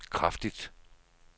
kraftigt